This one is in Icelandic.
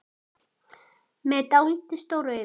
Með dáldið stór augu.